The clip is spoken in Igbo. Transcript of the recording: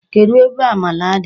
Kedụ ebe amala dị?